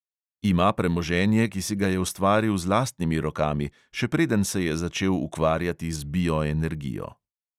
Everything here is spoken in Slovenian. Ima premoženje, ki si ga je ustvaril z lastnimi rokami, še preden se je začel ukvarjati z bioenergijo.